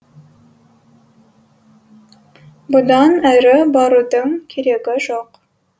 бұдан әрі барудың керегі жоқ